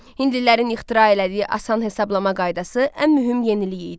Hindlilərin ixtira elədiyi asan hesablama qaydası ən mühüm yenilik idi.